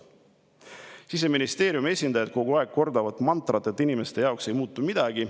Siseministeeriumi esindajad kordavad kogu aeg mantrat, et inimeste jaoks ei muutu midagi.